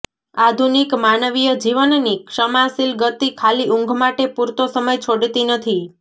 આધુનિક માનવીય જીવનની ક્ષમાશીલ ગતિ ખાલી ઊંઘ માટે પૂરતો સમય છોડતી નથી